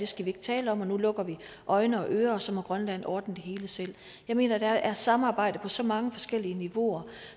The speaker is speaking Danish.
skal vi ikke tale om og nu lukker vi øjne og ører og så må grønland ordne det hele selv jeg mener at der er samarbejde på så mange forskellige niveauer